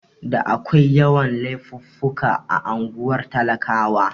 Da akwai yawan Laifuffuka a unguwar talakawa